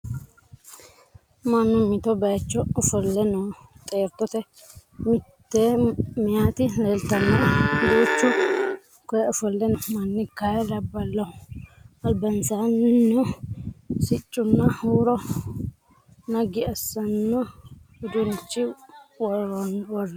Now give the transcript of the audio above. Mannu mitto bayiicho ofolle no. Xeertote mitte meyaati leelitannoe. Duuchu koyee ofolle no manni kayii labbaloho. Albaansannino siccunna huuro naggi assano uduunnicho worroyi.